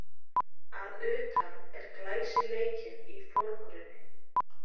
Að utan er glæsileikinn í forgrunni